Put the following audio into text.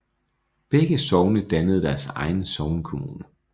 Begge sogne dannede deres egen sognekommune